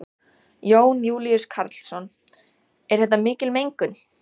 Jón Júlíus Karlsson: Er þetta mikil mengun?